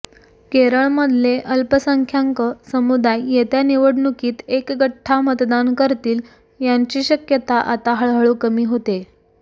केरळमधले अल्पसंख्यांक समुदाय येत्या निवडणुकीत एकगठ्ठा मतदान करतील याची शक्यता आता हळूहळू कमी होतेय